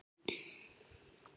Hann fékk að vísu